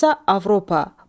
Fransa, Avropa.